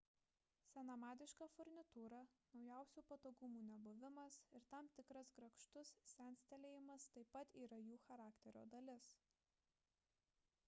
senamadiška furnitūra naujausių patogumų nebuvimas ir tam tikras grakštus senstelėjimas taip pat yra jų charakterio dalis